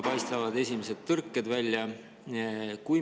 Paistavad esimesed tõrked välja.